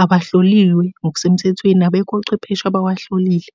awahloliwe ngokusemthethweni abekho ochwepheshe abawahlolile.